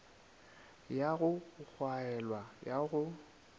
ya go gwaelwa ya go